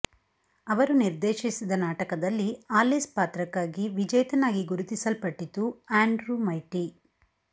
ಅವರು ನಿರ್ದೇಶಿಸಿದ ನಾಟಕದಲ್ಲಿ ಆಲಿಸ್ ಪಾತ್ರಕ್ಕಾಗಿ ವಿಜೇತನಾಗಿ ಗುರುತಿಸಲ್ಪಟ್ಟಿತು ಆಂಡ್ರ್ಯೂ ಮೈಟಿ